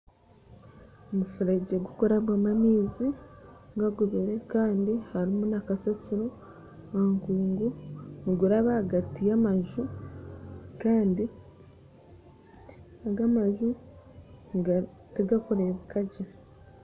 Omufuregye gurikurabwamu amaizi gagubire kandi harimu nakasasiro aha nkungu niguraba ahagati y'amaju kandi ago amaju tigarikurebuka gye.